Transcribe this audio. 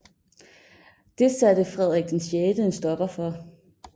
Det satte Frederik VI en stopper for